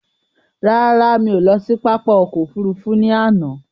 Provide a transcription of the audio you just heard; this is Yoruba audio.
Rárá, mí ò lọ sí pápá ọkò òfurufú ní àná.